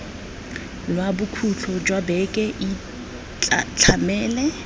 lwa bokhutlo jwa beke itlhamele